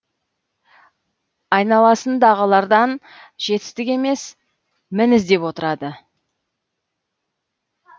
айналасындағылардан жетістік емес мін іздеп отырады